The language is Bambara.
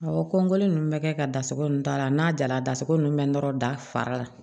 Awɔ kɔnin ninnu bɛ kɛ ka da sago ninnu ta la n'a jara dasiko ninnu bɛ nɔrɔ da fara la